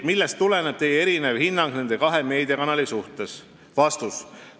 Millest tuleneb Teie erinev hinnang nende kahe meediakanali suhtes?